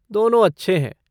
दोनों अच्छे हैं।